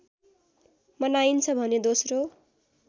मनाइन्छ भने दोस्रो